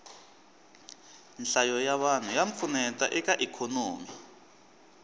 nhlayo ya vanhu ya pfuneta eka ikhonomi